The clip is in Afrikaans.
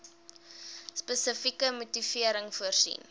spesifieke motivering voorsien